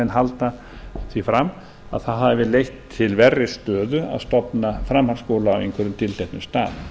halda því fram að það hafi leitt til verri stöðu að stofna framhaldsskóla á einhverjum tilteknum stað